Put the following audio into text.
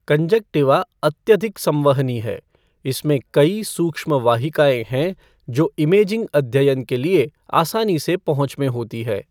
Conjunctiva अत्यधिक संवहनी है, इसमें कई सूक्ष्म वाहिकाएँ हैं जो इमेजिंग अध्ययन के लिए आसानी से पहुँच में होती है।